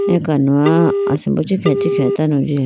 akanoha asimbo ichikhiha ichikhiha tando jiyayi.